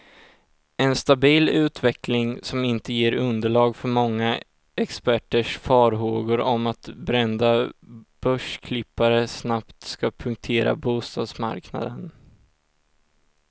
En stabil utveckling, som inte ger underlag för många experters farhågor om att brända börsklippare snabbt ska punktera bostadsmarknaden.